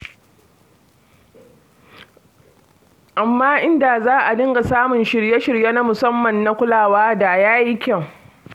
Amma in da za a dinga samun shirye-shirye na musamman na kulawa, da ya yi kyau.